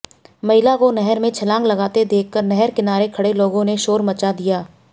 महिला को नहर में छलांग लगाते देखकर नहर किनारे खड़े लोगों ने शोर मचा दिया